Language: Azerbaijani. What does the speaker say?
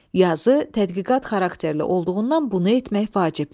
Yazı tədqiqat xarakterli olduğundan bunu etmək vacibdir.